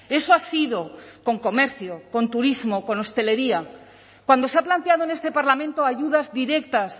eso ha sido con comercio con turismo con hostelería cuando se ha planteado en este parlamento ayudas directas